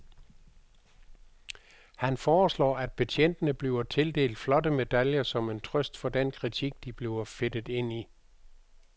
Han foreslår, at betjentene bliver tildelt flotte medaljer som en trøst for den kritik, de bliver fedtet ind i.